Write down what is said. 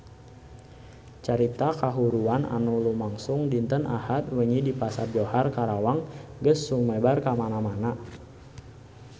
Carita kahuruan anu lumangsung dinten Ahad wengi di Pasar Johar Karawang geus sumebar kamana-mana